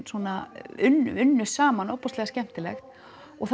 svona unnu unnu saman ofboðslega skemmtilegt og